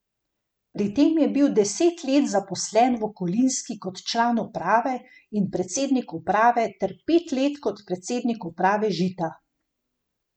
Pred tem je bil deset let zaposlen v Kolinski kot član uprave in predsednik uprave ter pet let kot predsednik uprave Žita.